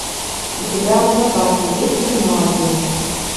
у тебя в запасе есть кино один